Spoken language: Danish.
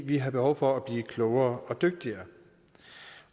vi har behov for at blive klogere og dygtigere